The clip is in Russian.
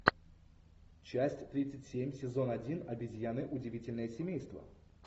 часть тридцать семь сезон один обезьяны удивительное семейство